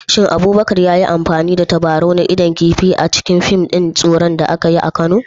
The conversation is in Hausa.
Shin Abubakar ya yi amfani da tabarau na idon kifi a cikin fim ɗin tsoro da aka yi a Kano?